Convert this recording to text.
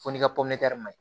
Fo n'i ka ma ɲi